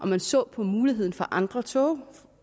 man ser på muligheden for med andre tog